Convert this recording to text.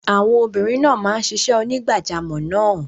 Àwọn obìnrin máa ń ṣiṣẹ́ onígbàjamọ̀ náà.